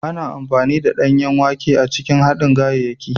Ana amfani da danyen wake a cikin haɗin ganyayaki.